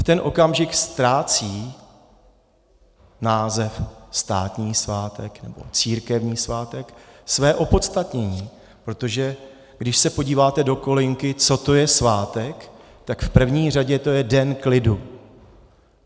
V ten okamžik ztrácí název státní svátek nebo církevní svátek své opodstatnění, protože když se podíváte do kolonky, co to je svátek, tak v první řadě to je den klidu.